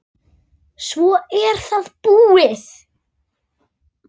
Svo er það búið.